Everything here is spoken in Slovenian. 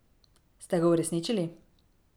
Ste ga uresničili?